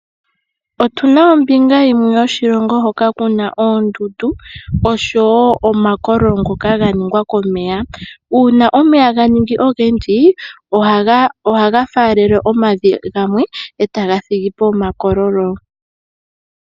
Otuna ombinga yimwe yoshilongo hoka kuna oondundu oshowo omakololo ngoka ga ningwa komeya uuna omeya ga ningi ogendji ohaga faalele omavi gamwe eta ga thigi po omakololo .